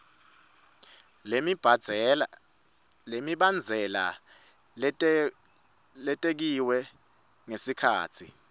lemibandzela lebekiwe ngesikhatsi